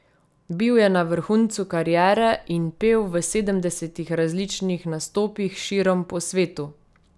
Bil je na vrhuncu kariere in pel v sedemdesetih različnih nastopih širom po svetu.